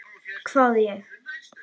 hváði ég.